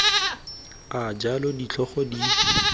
a jalo ditlhogo di tshwanetse